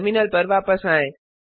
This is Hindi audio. टर्मिनल पर वापस आएँ